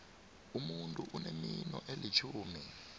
umuntu unemino elitjhumi